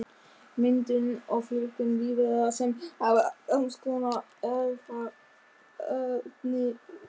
Myndun og fjölgun lífvera sem hafa sams konar erfðaefni.